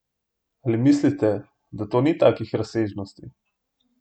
Ali mislite, da to ni takih razsežnosti?